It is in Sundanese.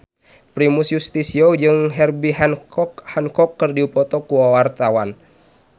Primus Yustisio jeung Herbie Hancock keur dipoto ku wartawan